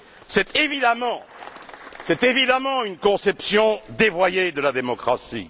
C'est évidemment une conception dévoyée de la démocratie.